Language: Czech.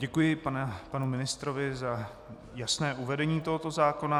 Děkuji panu ministrovi za jasné uvedení tohoto zákona.